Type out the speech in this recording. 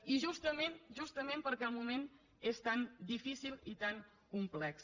i justament justament perquè el moment és tan difícil i tan complex